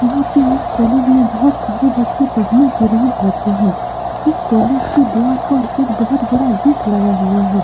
यहाँ पे इस कालेज में बहुत सारे बच्चे पढ़ने के लिए आते हैं इस कालेज के द्वार पर एक बहुत बड़ा गेट लगा हुआ है।